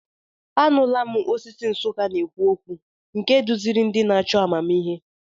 Anụla m osisi Nsukka na-ekwu okwu, nke duziri ndị na-achọ amamihe.